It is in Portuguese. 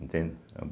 Entende?